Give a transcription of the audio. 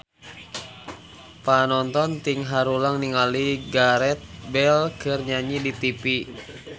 Panonton ting haruleng ningali Gareth Bale keur nyanyi di tipi